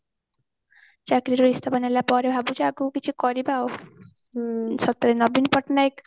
ଚାକିରି ରୁ ଇସ୍ତଫା ନେଲା ପରେ ଭାବୁଛି ଆଗକୁ କିଛି କରିବା ଆଉ ସତରେ ନବୀନ ପଟ୍ଟନାୟକ